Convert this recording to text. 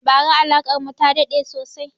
Ba ra alakar mu ta daɗe sosai